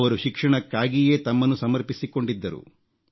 ಅವರು ಶಿಕ್ಷಣಕ್ಕಾಗಿಯೇ ತಮ್ಮನ್ನು ಸಮರ್ಪಿಸಿಕೊಂಡಿದ್ದರು